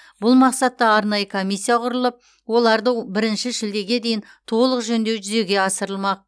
бұл мақсатта арнайы комиссия құрылып оларды бірінші шілдеге дейін толық жөндеу жүзеге асырылмақ